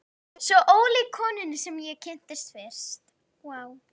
Svo ólík konunni sem ég kynntist fyrst.